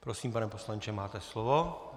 Prosím, pane poslanče, máte slovo.